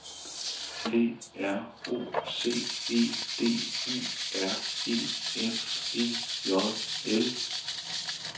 P R O C E D U R E F E J L